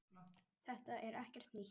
Þetta er ekkert nýtt.